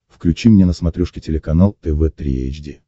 включи мне на смотрешке телеканал тв три эйч ди